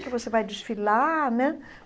Que você vai desfilar, né?